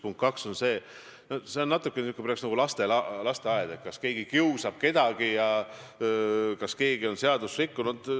Punkt 2 on see, et see on natukene nagu lasteaed: kas keegi kiusab kedagi ja kas keegi on seadust rikkunud.